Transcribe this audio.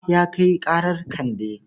Bala ya kai ƙarar Kande.